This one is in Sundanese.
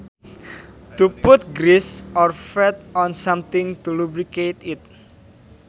To put grease or fat on something to lubricate it